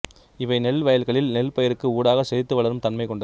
இவை நெல் வயல்களில் நெல்பயிருக்கு ஊடாக செழித்து வளரும் தன்மை கொண்டது